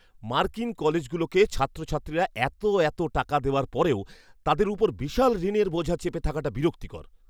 মার্কিন কলেজগুলোকে ছাত্রছাত্রীরা এতো এতো টাকা দেওয়ার পরেও তাদের ওপর বিশাল ঋণের বোঝা চেপে থাকাটা বিরক্তিকর!